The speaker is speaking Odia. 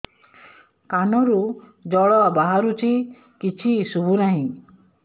କାନରୁ ଜଳ ବାହାରୁଛି କିଛି ଶୁଭୁ ନାହିଁ